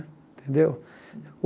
Tendeu?